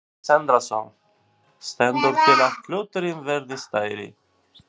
Sindri Sindrason: Stendur til að hluturinn verði stærri?